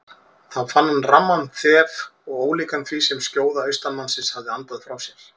Þá fann hann ramman þef og ólíkan því sem skjóða austanmannsins hafði andað frá sér.